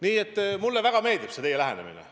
Nii et mulle väga meeldib see teie lähenemine.